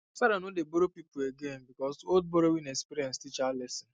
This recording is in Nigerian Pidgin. sarah no dey borrow people again because old borrowing experience teach her lesson